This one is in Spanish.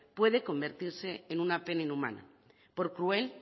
puede convertirse en una pena inhumana por cruel